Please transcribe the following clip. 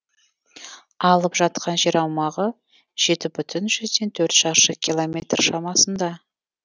алып жатқан жер аумағы жеті бүтін жүзден төрт шаршы километр шамасында